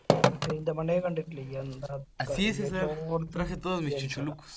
പെരിന്തൽമണ്ണേൽ കണ്ടിട്ടിലെ എന്താന്ന് എല്ലായിടത്തും gents kada